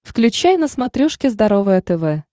включай на смотрешке здоровое тв